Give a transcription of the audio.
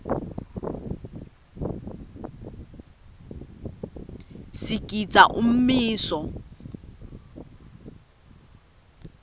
sigidza umiso